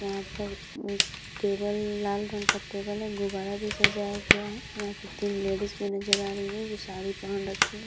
यहाँ पर हम्म टेबल लाल रंग का टेबल है गुब्बारा भी सजाया गया है। यहाँ पर तीन लेडिस भी नज़र आ रही है जो साड़ी पहन रखी है।